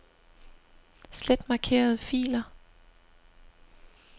Slet markerede filer.